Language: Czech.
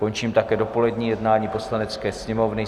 Končím také dopolední jednání Poslanecké sněmovny.